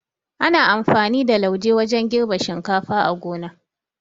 Ana amfani da lauje wajan girbe shinkafa a gona